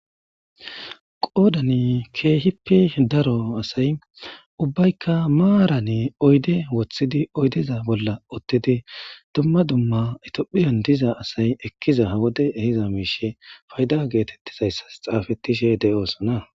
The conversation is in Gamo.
qoodani keehippi daro asay ubbaykka maarane oyde woththidi oydeza bolla ottidi dumma dumma itiphiyan diza asay ekkiza hawode ehiza miishe fayda geetettizayssas xaafettishe de7oosona